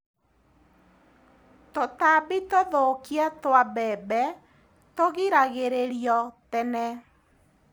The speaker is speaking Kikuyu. Tũtambi tũthũkia twa mbembe tũgiragĩrĩrio tene.